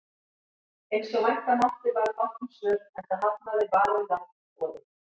Eins og vænta mátti varð fátt um svör, enda hafnaði Varið land boði